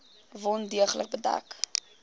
wond deeglik bedek